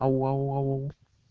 ау ау ау